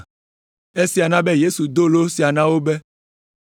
Esia na be Yesu do lo sia na wo be,